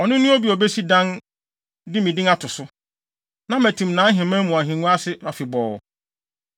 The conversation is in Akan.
Ɔno ne obi a obesi dan de me din ato so. Na matim nʼaheman mu ahengua ase afebɔɔ.